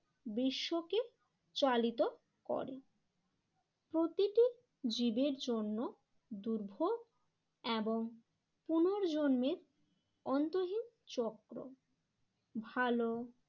বিশ্বকে চালিত করে। প্রতিটি জীবের জন্য দুর্ভোগ এবং পুনর্জন্মের অন্তহীন চক্র ভালো